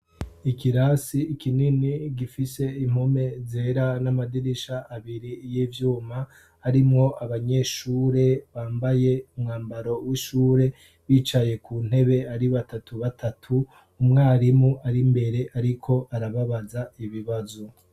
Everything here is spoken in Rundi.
Ikirasi ikinini gifise impome zera n'amadirisha abiri y'ivyuma arimwo abanyeshure bambaye umwambaro w'ishure bicaye ku ntebe ari batatu batatu .Umwarimu ari mbere ariko arababaza ibibazo.